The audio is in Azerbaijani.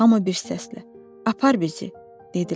Hamı bir səslə: “Apar bizi!” dedilər.